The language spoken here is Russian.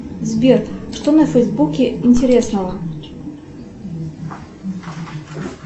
сбер что на фейсбуке интересного